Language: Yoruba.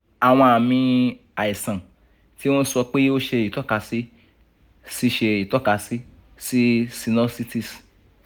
awọn aami aisan ti o n sọ pe o ṣe itọkasi si ṣe itọkasi si sinusitis